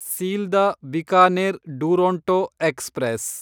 Sealdah Bikaner Duronto express